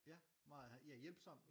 Ja meget ja hjælpsom